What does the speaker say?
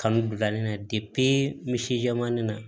Kanu bila nin na misijamani na